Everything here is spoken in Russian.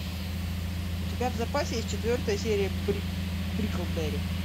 у тебя в запасе есть четвертая серия бриклберри